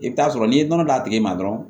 I bɛ t'a sɔrɔ n'i ye nɔnɔ d'a tigi ma dɔrɔn